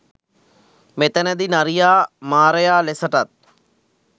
මෙතැනදී නරියා මාරයා ලෙසටත්